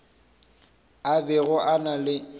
a bego a na le